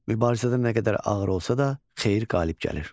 Mübarizədə nə qədər ağır olsa da xeyir qalib gəlir.